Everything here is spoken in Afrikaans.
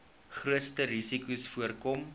grootste risikos voorkom